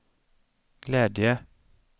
glädje